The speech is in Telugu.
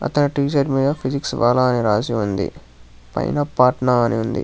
అతని టీ షర్ట్ మీద ఫిజిక్స్ వాలా అని రాసి ఉంది పైన పాట్నా అని ఉంది.